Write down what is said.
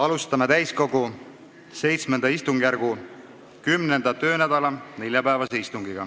Alustame täiskogu VII istungjärgu 10. töönädala neljapäevast istungit.